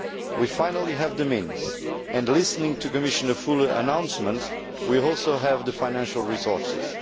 we finally have the means and, listening to Commissioners Füle's announcements, we also have the financial resources.